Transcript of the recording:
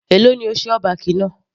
Èló ni o ṣe all back náà.